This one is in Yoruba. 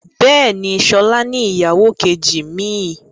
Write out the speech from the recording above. Bẹ́ẹ̀ni, sọlá ni ìyàwó kejì mi.